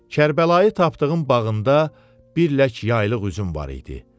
Kərbəlayı tapdığın bağında bir lək yaylıq üzüm var idi.